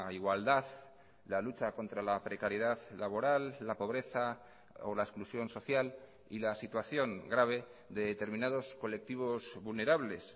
igualdad la lucha contra la precariedad laboral la pobreza o la exclusión social y la situación grave de determinados colectivos vulnerables